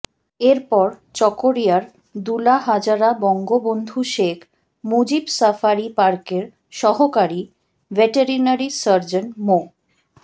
এরপর চকরিয়ার ডুলাহাজারা বঙ্গবন্ধু শেখ মুজিব সাফারি পার্কের সহকারী ভেটেরিনারি সার্জন মো